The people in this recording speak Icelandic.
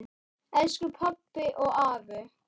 Elsku pabbi og afi.